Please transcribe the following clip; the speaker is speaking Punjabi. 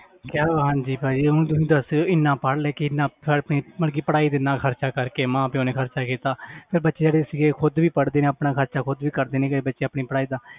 ਹਾਂਜੀ ਭਾਜੀ ਹੁਣ ਤੁਸੀਂ ਦੱਸ ਰਹੇ ਹੋ ਇੰਨਾ ਪੜ੍ਹ ਲਿਖ ਕੇ ਇੰਨਾ ਫਿਰ ਵੀ ਮਤਲਬ ਕਿ ਪੜ੍ਹਾਈ ਤੇ ਇੰਨਾ ਖ਼ਰਚਾ ਕਰਕੇ ਮਾਂ ਪਿਓ ਨੇ ਖ਼ਰਚਾ ਕੀਤਾ ਤੇ ਬੱਚੇ ਜਿਹੜੇ ਸੀਗੇ ਖੁੱਦ ਵੀ ਪੜ੍ਹਦੇ ਆ ਆਪਣਾ ਖ਼ਰਚਾ ਖੁੱਦ ਵੀ ਕਰਦੇ ਨੇ ਕਈ ਬੱਚੇ ਆਪਣੀ ਪੜ੍ਹਾਈ ਦਾ